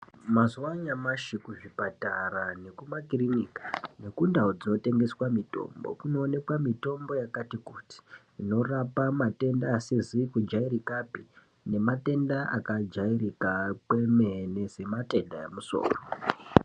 Mazuwaanyamashi kuzvipatara nekumakirinika neku ndau dzinotengeswa mitombo kunowanika mitombo yakati kuti inorapa matenda asizi kujairikapi nematenda akajairika kwemene sematenda emusoro.